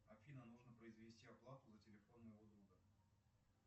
афина нужно произвести оплату за телефон моего друга